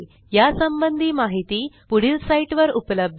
यासंबंधी माहिती पुढील साईटवर उपलब्ध आहे